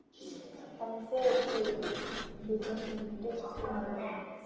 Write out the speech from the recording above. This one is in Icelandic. Hefur föðurhlutverkið breytt Aroni?